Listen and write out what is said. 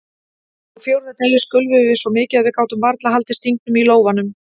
Á fjórða degi skulfum við svo mikið að við gátum varla haldið stingnum í lófanum.